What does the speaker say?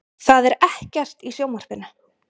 Það er ekkert í sjónvarpinu.